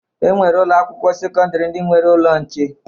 E nwere ụlọakwụkwọ sekọndịrị ndị nwere ụlọ nche